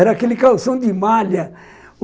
Era aquele calção de malha.